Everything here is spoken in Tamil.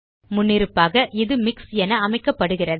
முன்னிருப்பாக இது மிக்ஸ் என அமைக்கப்படுகிறது